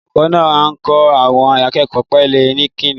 Olùkọ́ náà ń kọ́ àwọn akẹ́kọ̀ọ́ ìpele Kínní.